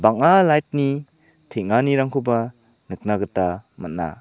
bang·a light-ni teng·anirangkoba nikna gita man·a.